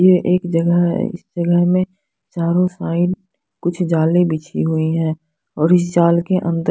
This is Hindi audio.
ये एक जगह है इस जगह में चारो साइड कुछ जाले बिछी हुई हैं और इस जाल के अंदर--